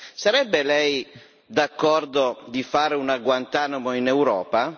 Sarebbe lei d'accordo di fare una Guantánamo in Europa?